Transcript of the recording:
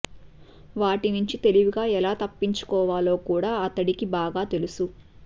వాటి నుంచి తెలివిగా ఎలా తప్పించుకోవాలో కూడా అతడికి బాగా తెలుసు